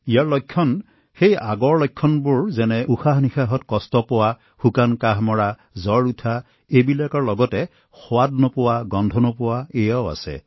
ইয়াৰ লক্ষণবোৰ পূৰ্বৰ দৰে উশাহ লোৱা শুকান কাহ জ্বৰ আৰু ইয়াৰ সৈতে অলপ গোন্ধ সোৱাদ নাইকিয়া হোৱা